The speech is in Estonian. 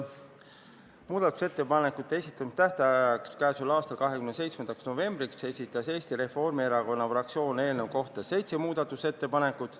Muudatusettepanekute esitamise tähtajaks, k.a 27. novembriks esitas Eesti Reformierakonna fraktsioon eelnõu kohta seitse muudatusettepanekut.